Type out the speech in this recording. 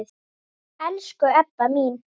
Elsku Ebba mín.